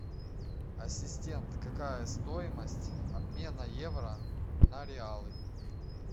ассистент какая стоимость обмена евро на реалы